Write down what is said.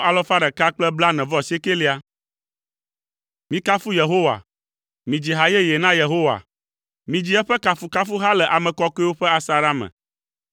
Mikafu Yehowa. Midzi ha yeye na Yehowa, midzi eƒe kafukafuha le ame kɔkɔewo ƒe asaɖa me.